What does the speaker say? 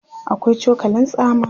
akwai cokalin tsama